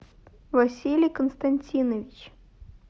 василий константинович